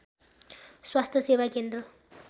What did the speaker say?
स्वास्थ्य सेवा केन्द्र